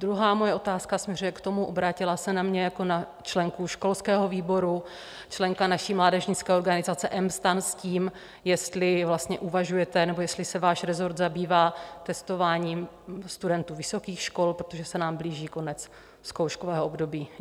Druhá moje otázka směřuje k tomu: obrátila se na mě jako na členku školského výboru členka naší mládežnické organizace mSTAN s tím, jestli vlastně uvažujete nebo jestli se váš resort zabývá testováním studentů vysokých škol, protože se nám blíží konec zkouškového období.